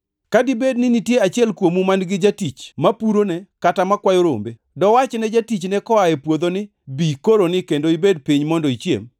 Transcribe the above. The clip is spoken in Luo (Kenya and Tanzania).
“Ka dibed ni nitie achiel kuomu man-gi jatich mapurone kata makwayo rombe. Dowachne jatichne koa e puodho ni, ‘Bi koroni kendo ibed piny mondo ichiem’?